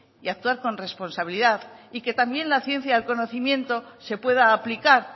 y actuar con responsabilidad y que también la ciencia del conocimiento se pueda aplicar